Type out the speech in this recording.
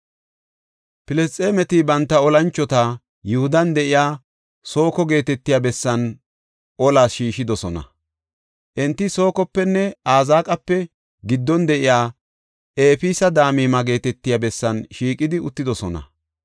Filisxeemeti banta olanchota Yihudan de7iya Sooko geetetiya bessan olas shiishidosona. Enti Sokopenne Azeeqape giddon de7iya Efees-Damima geetetiya bessan shiiqidi uttidosona.